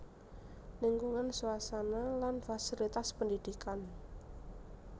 Lingkungan suasana lan fasilitas pendidikan